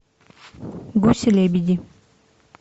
гуси лебеди